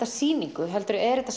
sýningu heldur er þetta